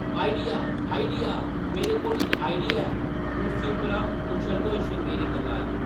“Idea ! Idea ! मेरे कोल इक आइडिया ऐ !” कुर्सी परा उच्छलदे होई श्रृंगेरी करलाया ।